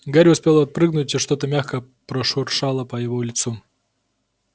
гарри успел отпрыгнуть и что-то мягкое прошуршало по его лицу